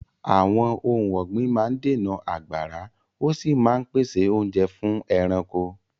Àwọn ohun ọ̀gbìn máa ń dènà àgbàrá, ó sì máa ń pèsè oúnjẹ fún ẹranko.